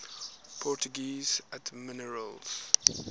portuguese admirals